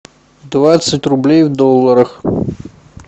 двадцать рублей в долларах